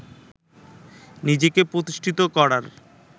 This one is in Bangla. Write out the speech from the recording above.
নিজেকে প্রতিষ্ঠিত করার